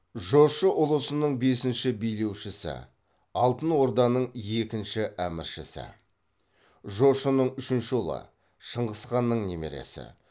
жошы ұлысының бесінші билеушісі алтынорданың екінші әміршісі жошының үшінші ұлы шыңғысханның немересі